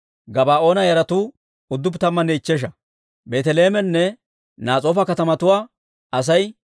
K'iriyaati-Yi'aariima, Kafiiranne Ba'eroota katamatuwaa Asay 743.